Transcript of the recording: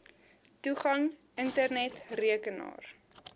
toegang internet rekenaar